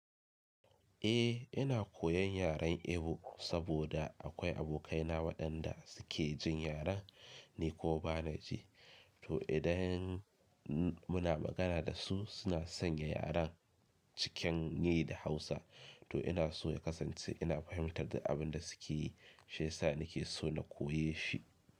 Eh ina koyan yaren Igbo saboda akwai abokaina waɗanda su ke jin yaren, ni kuma bana ji. To idan muna magana da su suna sanya yaren cikin ni da Hausa. To ina so na kasance ina fahimtar abin da su ke yi, shi ya sa ni ke so na koya shi.